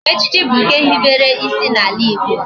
Echichi bu nke ehibere isi na ala Igbo